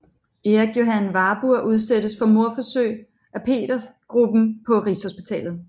Erik Johan Warburg udsættes for mordforsøg af Petergruppen på Rigshospitalet